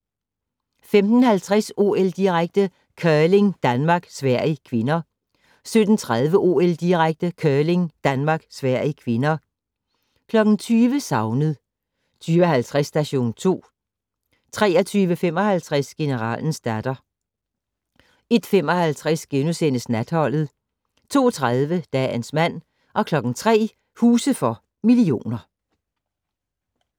15:50: OL-direkte: Curling - Danmark-Sverige (k) 17:30: OL-direkte: Curling - Danmark-Sverige (k) 20:00: Savnet 20:50: Station 2 23:55: Generalens datter 01:55: Natholdet * 02:30: Dagens mand 03:00: Huse for millioner